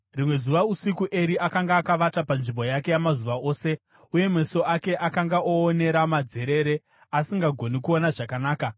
Rimwe zuva usiku, Eri akanga akavata panzvimbo yake yamazuva ose, uye meso ake akanga oonera madzerere, asisagoni kuona zvakanaka.